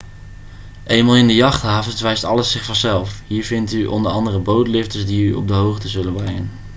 eenmaal in de jachthavens wijst alles zich vanzelf hier vindt u andere bootlifters die u op de hoogte zullen brengen